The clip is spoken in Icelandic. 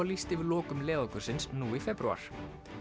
lýst yfir lokum leiðangursins nú í febrúar